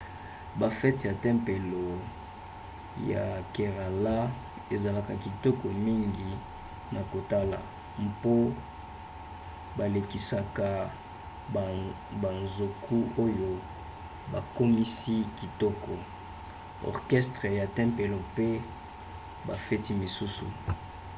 bafete ya tempelo ya kerala ezalaka kitoko mingi na kotala mpo balekisaka banzoku oyo bakomisi kitoko orchestre ya tempelo mpe bafete mosusu